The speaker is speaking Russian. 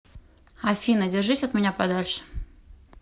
афина держись от меня подальше